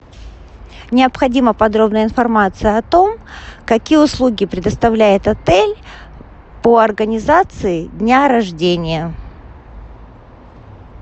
необходима подробная информация о том какие услуги предоставляет отель по организации дня рождения